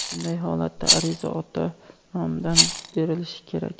Bunday holatda ariza ota nomidan berilishi kerak.